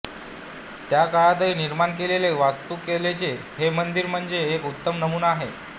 त्या काळातही निर्माण केलेला वास्तु कलेचा हे मंदीर म्हणजे एक उत्तम नमुना आहे